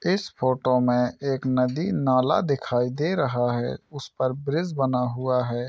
इस फोटो में एक नदी नाला दिखाई दे रहा है उस पर ब्रिज बना हुआ है।